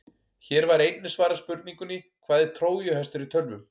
Hér var einnig svarað spurningunni: Hvað er trójuhestur í tölvum?